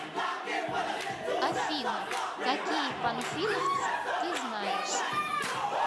афина какие панфиловцы ты знаешь